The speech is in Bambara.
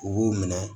U b'u minɛ